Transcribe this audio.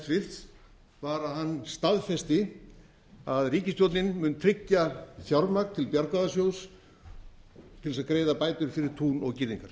hæstvirtur var að hann staðfesti að ríkisstjórnin mun tryggja fjármagn til bjargráðasjóðs til þess að greiða bætur fyrir tún og girðingar